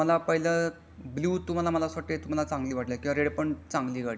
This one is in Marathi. पण तुम्हाला पहिलं ब्लू तुम्हाला मला वाटते तुम्हाला चांगली वाटली किंवा रेड चांगली गाडी आहे.